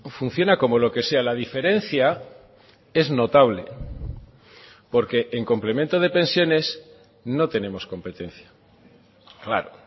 funciona como lo que sea la diferencia es notable porque en complemento de pensiones no tenemos competencia claro